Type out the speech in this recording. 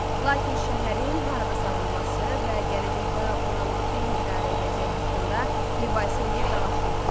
Lakin şəhərin harada salınması və gələcəkdə oranı kimin idarə edəcəyi haqqında mübahisə eləyib dalaşırlar.